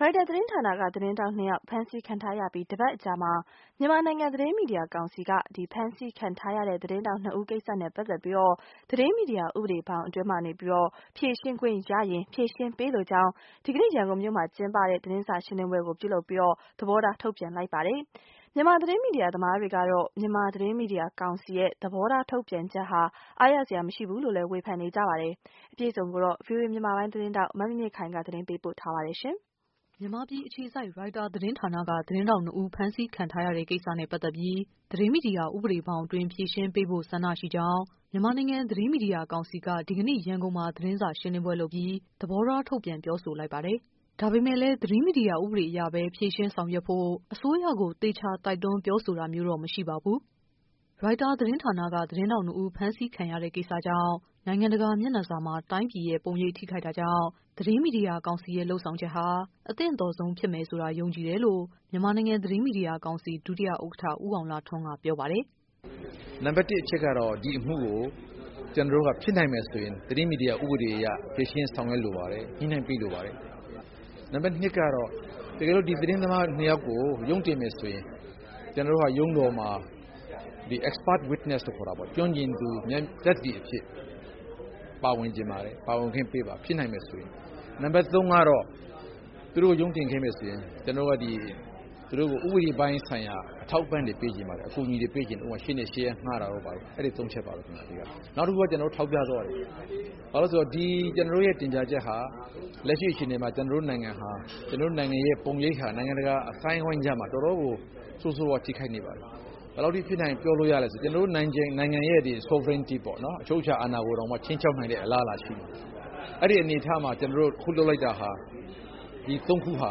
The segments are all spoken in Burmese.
ရိုက်တာ သတင်းဌာနက သတင်းထောက် နှစ်ဦး ဖမ်းဆီးခံထားရထားပြီး တပတ်အကြာမှာ မြန်မာနိုင်ငံ သတင်းမီဒီယာကောင်စီက ဖမ်းဆီးခံထားရတဲ့ သတင်းထောက်နှစ်ဦးကိစ္စနဲ့ ပတ်သက်ပြီး သတင်းမီဒီယာဥပဒေဘောင်အတွင်း ဖြေရှင်းပေးလို ကြောင်း ဒီကနေ့ ရန်ကုန်မှာ သတင်းစာရှင်းလင်းပွဲလုပ်ပြီး သဘောထား ထုတ်ပြန်လိုက်ပါ တယ်။ မြန်မာ သတင်းမီဒီယာသမားတွေကတော့ မြန်မာ သတင်းမီဒီယာကောင်စီရဲ့ သဘောထားထုတ်ပြန်ချက်ဟာ အားရစရာမရှိဘူးလို့ ဝေဖန်နေကြတာပါ။ သတင်း အပြည့် အစုံကိုတော့ ဗွီအိုအေ မြန်မာပိုင်း သတင်းထောက် မမြင့်မြင့်ခိုင်က တင်ပြပေးပါမယ်။ မြန်မာပြည်အခြေစိုက် ရိုက်တာသတင်းဌာနက သတင်းထောက် နှစ်ဦး ဖမ်းဆီးခံထားရတဲ့ ကိစ္စတဲ့ ပတ်သက်ပြီး သတင်းမီဒီယာ ဥပဒေဘောင်အတွင်း ဖြေရှင်ပေးဖို့ ဆန္ဒရှိကြောင်း မြန်မာနိုင်ငံ သတင်းမီဒီယာ ကောင်စီက ဒီကနေ့ ရန်ကုန်မှာ သတင်းစာ ရှင်းလင်းပွဲ လုပ်ပြီး သဘောထားထုတ်ပြန် ပြောဆိုလိုက်ပါတယ်။ ဒါပေမယ့်လည်း သတင်းမီဒီယာ ဥပဒေအရ ပဲ ဖြေရှင်းဆောင်ရွက်ဖို့ အစိုးရကို သေချာတိုက်တွန်း ပြောဆိုတာမျိုးတော့ မရှိပါဘူး။ ရိုက်တာ သတင်းထောက်နှစ်ဦး ဖမ်းဆီးခံရတဲ့ကိစ္စကြောင့် နိုင်ငံတကာ မျက်စာနှာမှာ တိုင်းပြည်ရဲ့ ပုံရိပ်ထိခိုက်တာကြောင့် သတင်းမီဒီယာကောင်စီရဲ့ လုပ်ဆောင်ချက်ဟာ အသင့်တော်ဆုံး ဖြစ်မယ် ဆိုတာ ယုံကြည်တယ်လို့ မြန်မာနိုင်ငံ သတင်းမီဒီယာကောင်စီ ဒုဥက္ကဋ္ဌ ဦးအောင်လှထွန်းက ပြောပါ တယ်။ “နံပါတ် ၁ အချက်ကတော့ ဒီအမှုကို ကျနော်တို့က ဖြစ်နိုင်မယ်ဆိုရင် သတင်းမီဒီယာ ဥပဒေအရ ဖြေရှင်းဆောင်ရွက်လိုပါတယ်။ ညှိနှိုင်းပေးလိုပါတယ်။ နံပတ် ၂ အချက်ကတော့ တကယ်လို့ ဒီသတင်းသမား ၂ ယောက်ကို ရုံးတင်မယ်ဆိုရင် ကျနော်တို့က ရုံးတော်မှာ Expert Witness လို့ခေါ်တာပေါ့ ကျွမ်းကျင်သူ အသိသက်သေအဖြစ် ပါဝင်စေချင်ပါတယ်၊ ပါဝင်ခွင့်ပေးပါ ဖြစ်နိုင်မယ်ဆိုရင်။ နံပါတ် ၃ ကတော့ သူတို့ကို ရုံးတင်ခဲ့မယ်ဆိုရင် ကျနော် တို့က ဥပဒေပိုင်းဆိုင်ရာ အထောက်အပံ့တွေ ပေးချင်ပါတယ်။ ရှေ့နေရှေ့ရပ်တွေ ငှားတာ တို့ဘာတို့ပေါ့ ။ အဲဒီ ၃ ချက်ပါပဲ အဓိကတော့ ။ နောက်တခု ကျနော်တို့ ထောက်ပြသွား တာက ဒီကျနော်တို့တင်ပြချက်ဟာလက်ရှိအခြေအနေမှာ ကျနော်တို့ နိုင်ငံရဲ့ ပုံရိပ်ဟာ နိုင်ငံတကာ အသိုင်းအဝိုင်းကြားမှာ တော်တော်ကို ဆိုးဆိုးဝါးဝါး ထိခိုက်နေပါတယ်။ ဘယ် လောက်အထိ ပြင်းထန်တယ်ပြောလို့ရသလဲဆိုရင် ကျနေ်ာတို့နိုင်ငံရဲ့ sovereignty ပေါ့ နော်၊ အချုပ်အခြာအာဏာကိုတောင်မှ ခြိမ်းခြောက်နိုင်တဲ့ အလားအလာရှိတယ်။ အဲဒီ အနေအထားမှာ ကျနော်တို့အခုလုပ်လိုက်တာဟာ ဒီ ၃ ခုဟာ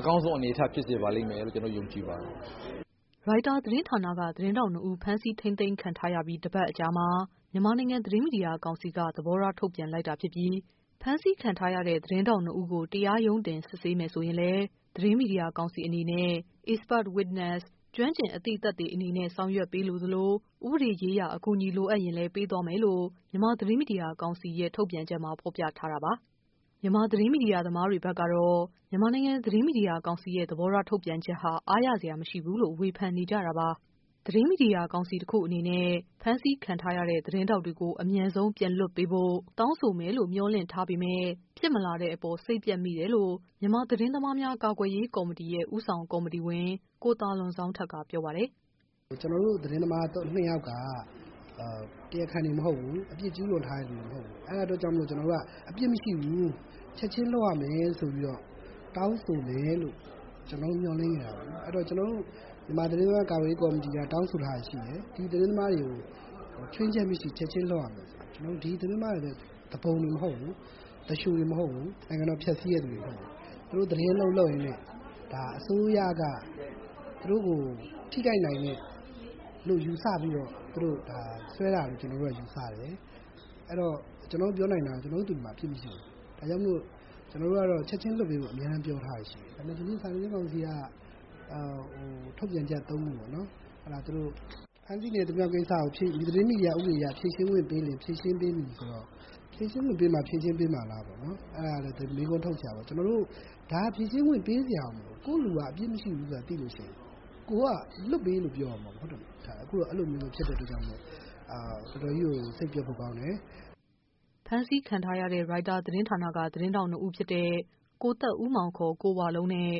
အကောင်းဆုံး အနေအထား ဖြစ်စေပါလိမ့်မယ်လို့ ကျနော်တို့ ယုံကြည်ပါတယ်။” ရိုက်တာ သတင်းဌာနက သတင်းထောက် နှစ်ဦး ဖမ်းဆီးခံထားရပြီး တပတ်အကြာမှာ မြန်မာနိုင်ငံ သတင်း မီဒီယာကောင်စီက သဘောထား ထုတ်ပြန်လိုက်တာဖြစ်ပြီး ဖမ်းဆီးခံ ထားရတဲ့ သတင်း ထောက် နှစ်ဦးကို တရားရုံတင် စစ်ဆေးမယ်ဆိုရင်လည်း သတင်း မီဒီယာကောင်စီအနေနဲ့ Expert Witness ကျွမ်းကျင်သူ အသိသက်သေအနေနဲ့ ဆောင် ရွက်ပေးလိုသလို ဥပဒေရေးရာ အကူညီတွေ လိုအပ်ရင်လည်း ပေးသွားမယ်လို့ မြန်မာ သတင်းမီဒီယာကောင်စီရဲ့ ထုတ်ပြန်ချက်မှာ ဖော်ပြထားတာပါ။ မြန်မာသတင်း မီဒီယာသမားတွေဘက်ကတော့ မြန်မာနိုင်ငံ သတင်းမီဒီယာကောင်စီရဲ့ သဘောထား ထုတ်ပြန်ချက်ဟာ အားရစရာမရှိဘူးလို့ ဝေဖန်နေကြတာပါ။ သတင်းမီဒီယာ ကောင်စီတခုအနေနဲ့ ဖမ်း ဆီးခံထားရတဲ့ သတင်းထောက်တွေကို အမြန်ဆုံး ပြန်လွှတ်ပေး ဖို့ တောင်းဆိုမယ်လို့ မေ ျှာ်လင့်ထားပေမယ့် ဖြစ်မလာတဲ့အပေါ် စိတ်ပျက်မိတယ်လို့ မြန်မာသတင်းသမားများ ကာကွယ်ရေးကော်မတီ ဦးဆောင် ကော်မတီဝင် ကိုသာလွန် ဇောင်းထက်က ပြောပါတယ်။ “ကျနော်တို့ သတင်းသမား ၂ ယောက်က တရားခံတွေမဟုတ်ဘူး အပြစ်ကျူး လွန်ထားတဲ့ လူတွေမဟုတ်ဘူး။ အဲဒီအတွက်ကြောင့်မို့လို့ ကျနော်တို့က အပြစ်မရှိဘူး၊ ချက်ချင်း လွှတ်ရ မယ် ဆိုပြီးတော့ တောင်းဆိုမယ်လို့ ကျနော်တို့ မျှော်လင့်ခဲ့တာပေါ့။ အဲဒီတော့ ကျနော်တို့ မြန်မာသတင်းသမားများ ကာကွယ်ရေးကော်မတီက တောင်းဆိုထားတာရှိတယ်။ ဒီ သတင်းသမားတွေကို ခြွင်းချက်မရှိ ချက်ချင်းလွှတ်ရမယ်ဆိုပြီးတော့ ဆိုတော့ ကျနော်တို့ ဒီသတင်းမားတွေက သူပုန်တွေမဟုတ်ဘူး။ သူလျိုတွေမဟုတ်ဘူး။ နိုင်ငံတွေ ဖျက်ဆီးတဲ့ သူတွေမဟုတ်ဘူး။ သူတို့သတင်းအလုပ်လုပ်ရင်းနဲ့ အစိုးရက သူတို့ကို ထိခိုက်နိုင်မယ်လို့ ယူဆပြီးတော့ သူတို့ကို စွဲတာလို့ ကျနော်တို့ယူဆတယ်။ ကျနော်တို့ပြောနိုင်တာက ကျနော် တို့ လူတွေမှာအပြစ်မရှိဘူး အဲဒါကြောင့် ချက်ချင်းလွှတ်ပေးဖို့ ကျနော်တို့ အမြဲပြောထား တာ ရှိတယ်။ ဒါပေမယ့် ဒီနေ့ စာနယ်ဇင်းကောင်စီက ထုတ်ပြန်ချက် ၃ ခုကို ဖမ်းဆီးခံရ သူများကိစ္စကို သတင်းမီဒီယာဥပဒေအရ ဖြေရှင်းခွင့်ပေးလျင် ဖြေရှင်းပေးမည်ဆိုတော့ ၊ ဖြေရှင်းခွင့်ပေးမှ ဖြေရှင်းပေးမှာလားဆိုတာ မေးခွန်းထုတ်စရာပေါ့နော်။ ကျနော်တို့ ဒါက ဖြေရှင်းခွင့်ပေးစရာကို မလိုဘူး။ ကိုယ့်လူက အပြစ်မရှိဘူးဆိုတာ သိလို့ရှိရင် ကိုယ်က လွှတ်ပေးလို့ ပြောရမှာပေါ့နော်။ ဒါက အခုက အဲလိုမျိုးမဖြစ်တဲ့အတွက်ကြောင့်မို့လို့ တော်တော်ကြီးကို စိတ်ပျက်ဖို့ကောင်းတယ်။” ဖမ်းဆီးခံထားရတဲ့ ရိုက်တာ သတင်းထောက် ၂ ဦးဖြစ်တဲ့ ကိုသက်ဦးမောင် (ခေါ်) ကို ဝလုံးနဲ့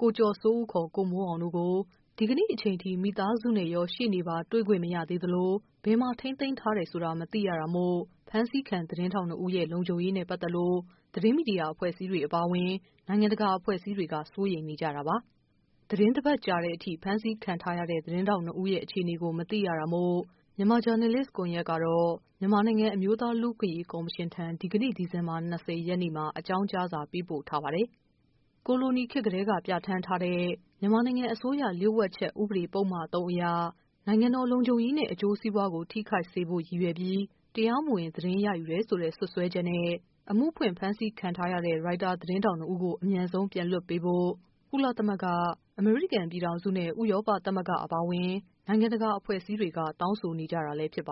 ကိုကျော်စိုးဦး (ခေါ်) ကိုမိုးအောင်တို့ကို ဒီကနေ့ အချိန်ထိ မိသားစုရော ရှေ့နေပါ တွေ့ခွင့် မရသေးသလို ဘယ်မှာ ထိန်းသိမ်းထားတယ်ဆိုတာ မသိရတာမို့ ဖမ်းဆီးခံ သတင်းထောက် ၂ ဦးရဲ့ လုံခြုံရေးနဲ့ ပတ်သက်လို့ သတင်းမီဒီယာ အဖွဲ့အစည်းတွေ အပါ အဝင် နိုင်ငံတကာအဖွဲ့ အစည်းတွေက စိုးရိမ်နေကြတာပါ။ သီတင်းတပတ်ကြာတဲ့အထိ ဖမ်းဆီးခံထားရတဲ့ သတင်းထောက်နှစ်ဦးရဲ့ အခြေအနေကို မသိရတာမို့ မြန်မာ ဂျာနယ်လစ်ကွန်ယက်ကတော့ မြန်မာနိုင်ငံ အမျိုးသား လူ့အခွင့်အရေး ကော်မရှင်ထံ ဒီကနေ့ ဒီ ဇင်ဘာ ၂၀ ရက်နေ့မှာ အကြောင်းကြားစာ ပေးပို့ထားပါတယ်။ ကိုလိုနီခေတ်ကတည်းက ပြဌာန်းထားတဲ့ မြန်မာနိုင်ငံ အစိုးရလ ျှို့ဝှက်ချက်ဥပဒေ ပုဒ်မ ၃ အရ နိုင်ငံတော် လုံခြုံရေးနဲ့ အကျိုးစီးပွားကို ထိခိုက်စေဖို့ရည်ရွယ်ပြီး တရားမဝင် သတင်းရ ယူတယ်ဆိုတဲ့ စွပ်စွဲချက်နဲ့ အမှုဖွင့် ဖမ်းဆီးခံထားရတဲ့ ရိုက်တာ သတင်းထောက် ၂ ဦးကို အမြန်ဆုံး ပြန်လွှတ်ပေးဖို့ ကုလသမဂ္ဂ၊ အမေရိကန်ပြည်ထောင်စုနဲ့ ဥရောပ သမဂ္ဂအပါ အဝင် နိုင်ငံတကာအဖွဲ့အစည်းတွေက တောင်းဆိုနေ ကြတာလည်း ဖြစ်ပါ